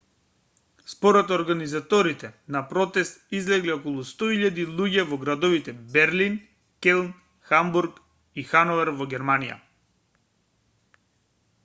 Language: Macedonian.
според организаторите на протест излегле околу 100.000 луѓе во градовите берлин келн хамбург и хановер во германија